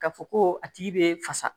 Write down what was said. Ka fɔ ko a tigi be fasa